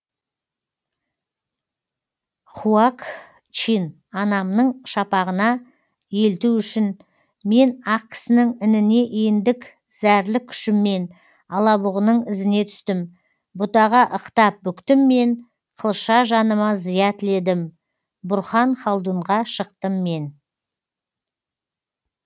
хуакчин анамның шапағына елту үшін мен ақкісінің ініне ендік зәрлік күшіммен алабұғының ізіне түстім бұтаға ықтап бүктім мен қылша жаныма зия тіледім бұрхан халдунға шықтым мен